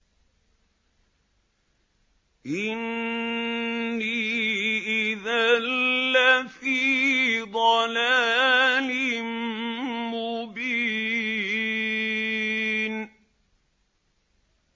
إِنِّي إِذًا لَّفِي ضَلَالٍ مُّبِينٍ